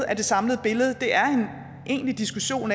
at den samlede diskussion